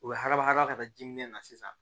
U bɛ haba hadama ka taa ji minɛ na sisan